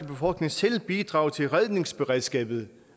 befolkning selv bidrage til redningsberedskabet